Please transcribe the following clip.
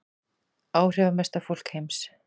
Áhrifamesta fólk heims